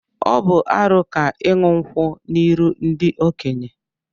Ọ bu arụ ka iṅu nkwu n'iru ndi-okenye.